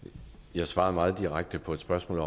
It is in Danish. jeg svarede meget direkte på et spørgsmål